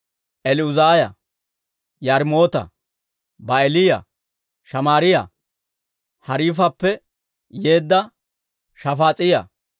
El"uzaaya, Yaarimoota, Ba'aaliyaa, Shamaariyaa, Hariifappe yeedda Shafaas'iyaa,